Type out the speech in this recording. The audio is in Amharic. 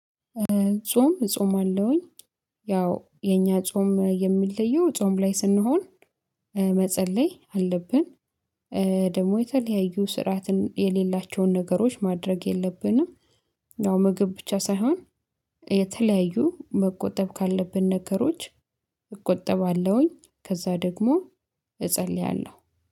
ጾም እጾማለውኝ ያው የኛ ጾም የሚለየው ጾም ላይ ስንሆን መጸለይ አለብን። ደግሞ የተለያዩ ስርዓትን የሌላቸውን ነገሮች ማድረግ የለብንም። ያው ምግብ ብቻ ሳይሆን የተለያዩ መቆጠብ ካለብን ነገሮች እቆጠባለሁኝ ከዛ ደግሞ እጸልያለሁ።